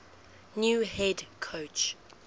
new head coach